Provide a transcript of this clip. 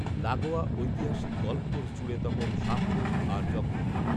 লাগোয়া ঐতিহাসিক golf course জুড়ে তখন সাপখোপ আর জঙ্গল